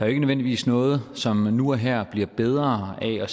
ikke nødvendigvis noget som nu og her bliver bedre af at